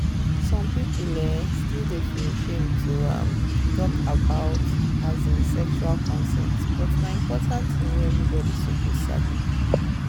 some people um still dey feel shame to um talk about um sexual consent but na important thing wey everybody suppose sabi.